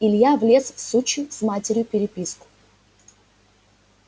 илья влез в сучью с матерью переписку